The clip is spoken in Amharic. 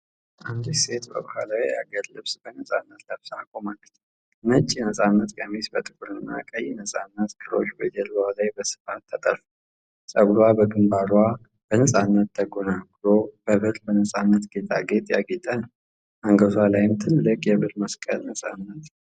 አንዲት ሴት በባህላዊ የሀገር ልብስ በነፃነት ለብሳ ቆማለች:: ነጭ ነፃነት ቀሚሱ በጥቁርና ቀይ ነፃነት ክሮች በጀርባዋ ላይ በስፋት ተጠልፏል። ፀጉሯ በግንባሯ በነፃነት ተጎንጉኖ፣ በብር ነፃነት ጌጣጌጥ ያጌጠ ነው። አንገቷ ላይም ትልቅ የብር መስቀል በነፃነት አጥልቃለች።